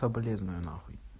соболезную нахуй